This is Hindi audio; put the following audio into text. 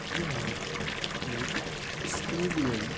यह एक स्टेडियम --